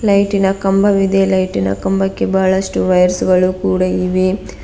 ಲೈಟಿನ ಕಂಬವಿದೆ ಲೈಟಿನ ಕಂಬಕ್ಕೆ ಬಹಳಷ್ಟು ವೈರ್ಸ್ ಗಳು ಕೂಡ ಇವೆ.